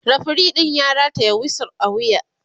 referee ɗin ya rataya wisu a wuya